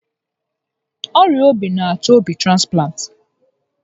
Ọrịa obi n'achọ obi transplant